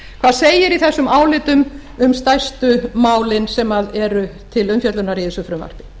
hvað segir í þessum álitum um stærstu málin sem eru til umfjöllunar í þessu frumvarpi